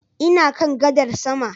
Ina kan gadar sama